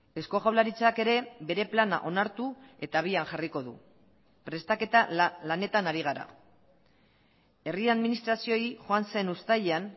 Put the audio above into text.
eusko jaurlaritzak ere bere plana onartu eta abian jarriko du prestaketa lanetan ari gara herri administrazioei joan zen uztailean